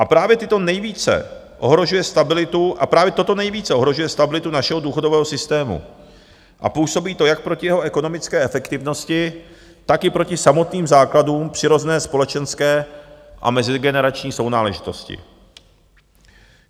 A právě toto nejvíce ohrožuje stabilitu našeho důchodového systému a působí to jak proti jeho ekonomické efektivnosti, tak i proti samotným základům přirozené společenské a mezigenerační sounáležitosti.